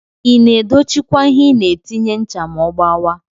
Ina edocchi kwa ihe inatinye ncha ma ogbawa?